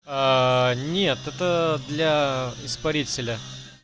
нет это для испарителя